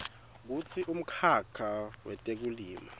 kutsi umkhakha wetekulima